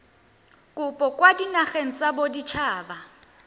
kopo kwa dinageng tsa baditshaba